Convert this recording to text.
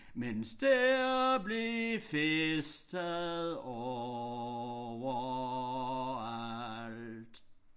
Men der blev festet overalt